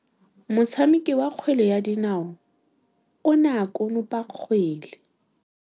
Motshameki wa kgwele ya dinaô o ne a konopa kgwele.